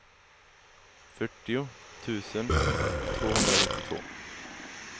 fyrtio tusen tvåhundranittiotvå